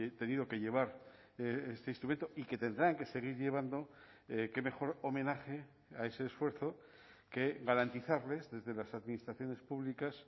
tenido que llevar este instrumento y que tendrán que seguir llevando qué mejor homenaje a ese esfuerzo que garantizarles desde las administraciones públicas